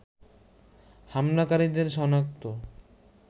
হামলাকারীদের সনাক্ত